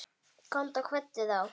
Komdu og kveddu þá.